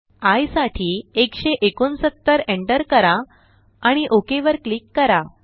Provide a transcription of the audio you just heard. I साठी 169 enter करा आणि OKवर क्लिक करा